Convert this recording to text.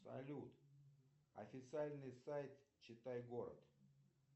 салют официальный сайт читай город